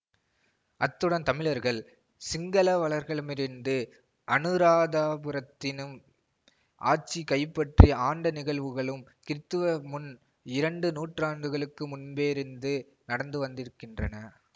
அத்துடன் தமிழர்கள் சிங்களவர்களிடமிருந்து அனுராதாபுரத்தினும் ஆட்சியை கைப்பற்றி ஆண்ட நிகழ்வுகளும் கிறிஸ்துவ முன் இரண்டு நூற்றாண்டுகளுக்கு முன்பிருந்தே நடந்து வந்திருக்கின்றன